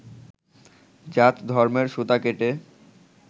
জাত-ধর্মের সুতা কেটে